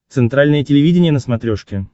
центральное телевидение на смотрешке